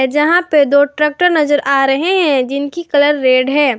जहां पे दो ट्रैक्टर नजर आ रहे हैं जिनकी कलर रेड है।